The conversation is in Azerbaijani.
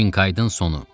Kiydın sonu.